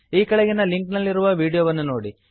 ಈ ಕೆಳಗಿನ ಲಿಂಕ್ ನಲ್ಲಿರುವ ವೀಡಿಯೋ ವನ್ನುನೋಡಿ